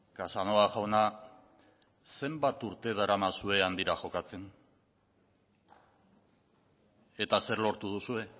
casanova jauna zenbat urte daramazue handira jokatzen eta zer lortu duzue